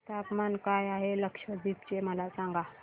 तापमान काय आहे लक्षद्वीप चे मला सांगा